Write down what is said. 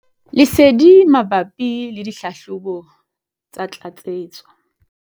Lesedi mabapi le dihlahlobo tsa tlatsetso.